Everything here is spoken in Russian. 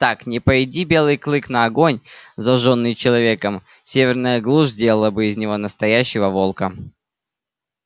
так не пойди белый клык на огонь зажжённый человеком северная глушь сделала бы из него настоящего волка